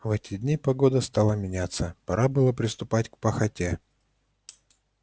в эти дни погода стала меняться пора было приступать к пахоте